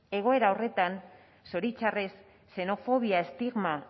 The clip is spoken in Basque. egoera horretan zoritxarrez xenofobia estigma